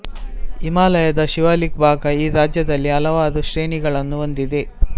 ಹಿಮಾಲಯದ ಶಿವಾಲಿಕ್ ಭಾಗ ಈ ರಾಜ್ಯದಲ್ಲಿ ಹಲವಾರು ಶ್ರೇಣಿಗಳನ್ನು ಹೊಂದಿದೆ